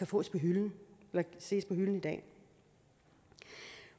på hylden i dag